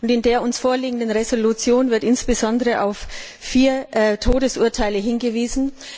In der uns vorliegenden Entschließung wird insbesondere auf vier Todesurteile hingewiesen.